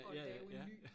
Og lave en ny